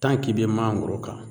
k'i be mangoro kan